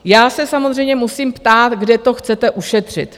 Já se samozřejmě musím ptát, kde to chcete ušetřit.